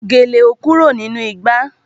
Gèlè ò kúrò nínú ìgbà